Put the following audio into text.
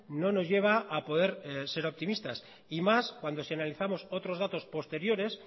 no nos lleva a poder ser optimistas y más cuando si analizamos otros datos posteriores